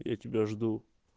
я тебя жду